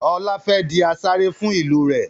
Ọlá fẹ́ di asarè fún ìlú rẹ̀